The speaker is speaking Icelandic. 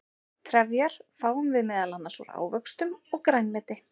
trefjar fáum við meðal annars úr ávöxtum og grænmeti